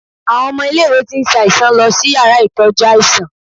Àwon ọmọ ilé ìwé tí ń ṣe aiṣàn lọ is ìyára itojú aiṣàn